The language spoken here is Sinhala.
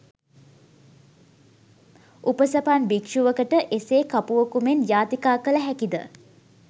උපසපන් භික්ෂුවකට එසේ කපුවකු මෙන් යාතිකා කළහැකිද